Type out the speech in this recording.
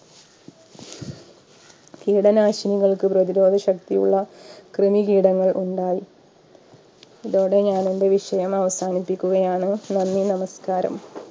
കീടനാശിനികൾക്ക് പ്രതിരോധ ശക്തിയുള്ള കൃമികീടങ്ങൾ ഉണ്ടായി ഇതോടെ ഞാനെന്റെ വിഷയം അവസാനിപ്പിക്കുകയാണ് നന്ദി നമസ്കാരം